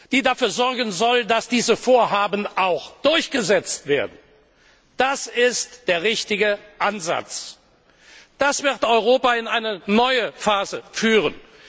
die dafür sorgen soll, dass diese Vorhaben auch durchgesetzt werden. Das ist der richtige Ansatz. Das wird Europa in eine neue Phase führen.